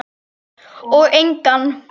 Og engan.